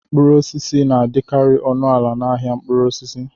Mkpụrụ osisi na-adịkarị ọnụ ala n'ahịa mkpụrụ osisi.